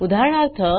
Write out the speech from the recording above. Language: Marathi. उदाहरणार्थ